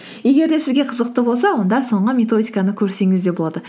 егер де сізге қызықты болса онда соңғы методиканы көрсеңіз де болады